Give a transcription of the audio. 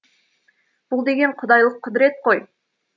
бұл деген құдайлық құдірет қой